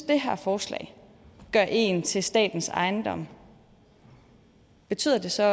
det her forslag gør en til statens ejendom betyder det så